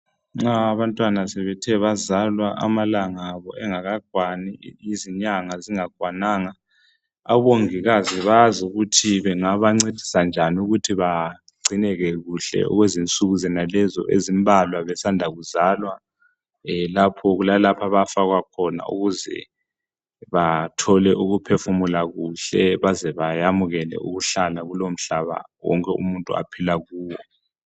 nxa abantwana sebethe bazalwa amalanga abo engakakwani izinyanga zingakwananga abongikazi bazi ukuthi bangabancedisa njani ukuthi bagcineke kuhle okwezinsuku zonezo ezimbalwa besanda kuzalwa e lapho kulalapho abafakwa khona ukuze bathole ukuphefumula kuhle bazebayamukele ukuhlala kulomhlaba wonke umuntu aphila kuwo